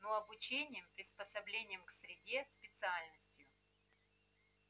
ну обучением приспособлением к среде специальностью